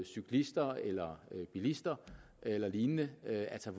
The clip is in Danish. cyklister eller bilister eller lignende altså